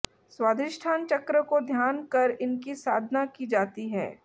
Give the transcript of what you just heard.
स्वाधिष्ठान चक्र को ध्यान कर इनकी साधना की जाती है